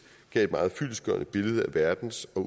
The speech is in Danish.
gav et meget fyldestgørende billede af verdens og